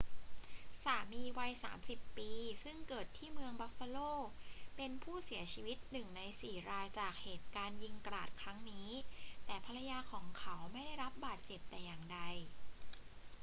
สามีวัย 30 ปี ซึ่งเกิดที่เมืองบัฟฟาโล เป็นผู้เสียชีวิตหนึ่งในสี่รายจากเหตุการณ์ยิงกราดครั้งนี้ แต่ภรรยาของเขาไม่ได้รับบาดเจ็บแต่อย่างใด